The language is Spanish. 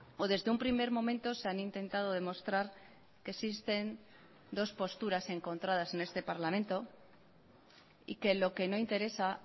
o desde un primer momento se han intentado demostrar que existen dos posturas encontradas en este parlamento y que lo que no interesa